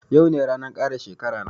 Yau ne ranan kara shekara na